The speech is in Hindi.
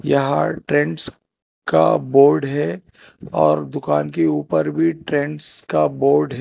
यहां ट्रेंड्स का बोर्ड है और दुकान के ऊपर भी ट्रेंड्स का बोर्ड है।